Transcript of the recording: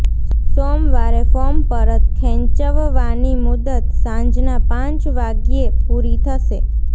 સોમવારે ફોર્મ પરત ખેંચવવાની મુદત સાંજના પાંચ વાગ્યે પૂરી થશે